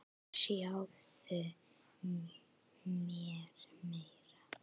Ljáðu mér eyra.